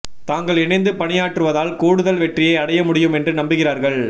தாங்கள் இணைந்து பணியாற்றுவதால் கூடுதல் வெற்றியை அடைய முடியும் என்று நம்புகிறார்கள்